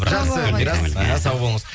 жақсы мирас іхі сау болыңыз